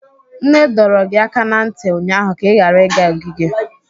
Nne dọrọ gị aka ná ntị ụnyaahụ ka ị ghara ịga ogige!